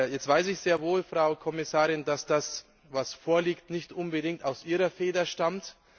Jetzt weiß ich sehr wohl, Frau Kommissarin, dass das, was vorliegt, nicht unbedingt aus Ihrer Feder stammt.